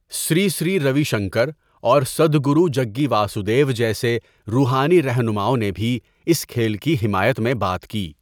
سری سری روی شنکر، اور سدھ گرو جگّی واسودیو جیسے روحانی رہنماؤں نے بھی اس کھیل کی حمایت میں بات کی۔